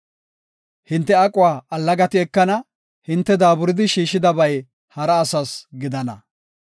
Hinte aquwa allagati ekana; hinte daaburadi shiishidabay hara asas gidana.